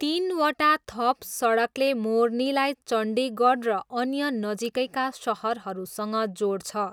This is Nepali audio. तिनवटा थप सडकले मोर्नीलाई चण्डीगढ र अन्य नजिकैका सहरहरूसँग जोड्छ।